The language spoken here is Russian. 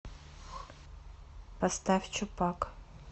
поставь чупак